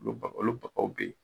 Olu olu o bɛ yen